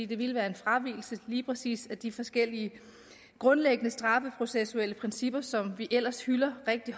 det ville være en fravigelse af lige præcis de forskellige grundlæggende straffeprocessuelle principper som vi ellers hylder rigtig